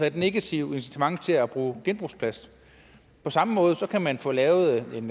et negativt incitament til at bruge genbrugsplast på samme måde kan man få lavet en